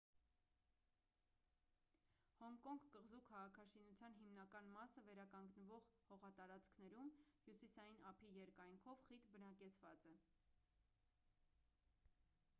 հոնկոնգ կղզու քաղաքաշինության հիմնական մասը վերականգնվող հողատարածքներում հյուսիային ափի երկայնքով խիտ բնակեցված է